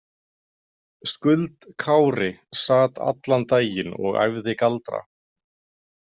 Skuld Kári sat allan daginn og æfði galdra.